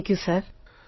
thank you sir